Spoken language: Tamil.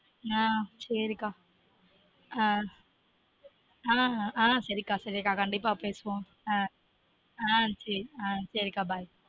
ஆஹ் சேரி கா ஆஹ் ஆஹ் சேரி கா சரி கா கண்டீப்பா பேசுவொம் சேரி கா bye